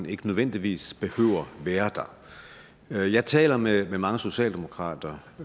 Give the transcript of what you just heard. ikke nødvendigvis behøver være der jeg taler med mange socialdemokrater